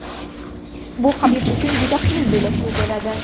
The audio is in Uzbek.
Bu Habib uchun juda qiyin bellashuv bo‘ladi.